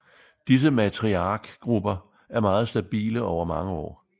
Disse matriarkgrupper er meget stabile over mange år